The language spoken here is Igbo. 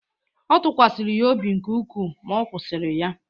Ọ tụkwasịkwara ya obi nke ukwuu, ma ọ kwụsịrị ya